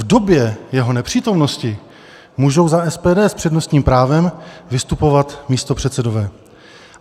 V době jeho nepřítomnosti můžou za SPD s přednostním právem vystupovat místopředsedové.